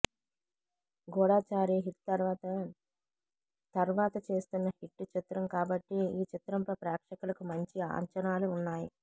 Goodachari hit తరువాత తర్వాత చేస్తున్న హిట్ చిత్రం కాబట్టి ఈ చిత్రంపై ప్రేక్షకులకు మంచి అంచనాలు ఉన్నాయి